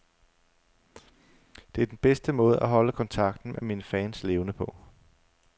Det er den bedste måde at holde kontakten med mine fans levende på.